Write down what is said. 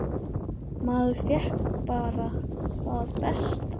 Maður fékk bara það besta.